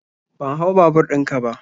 Ban hau babur ɗin ka ba.